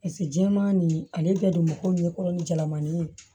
Paseke jɛman nin ale bɛɛ donko ɲɛkɔrɔ ni jalamani ye